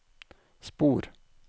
spor